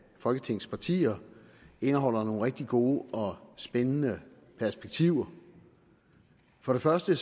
folketingets partier indeholder nogle rigtig gode og spændende perspektiver for det første